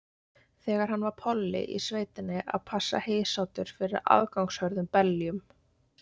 Þegar hann var polli í sveitinni að passa heysátur fyrir aðgangshörðum beljum.